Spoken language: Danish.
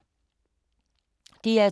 DR2